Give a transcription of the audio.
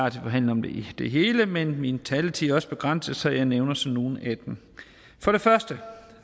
at forhandle om det hele men min taletid er også begrænset så jeg nævner så nogle af dem for det første